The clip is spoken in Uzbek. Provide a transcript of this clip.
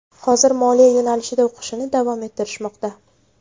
Hozir moliya yo‘nalishida o‘qishni davom ettirishmoqda.